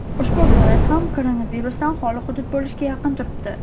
Ushbu viloyat ham koronavirusdan xoli hudud bo‘lishga yaqin turibdi.